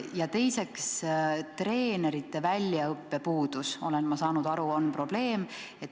Ja teiseks on probleem, nagu ma aru saan, treenerite puudulik väljaõpe.